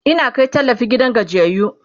Ina Kai tallafi gidan gajiyayyu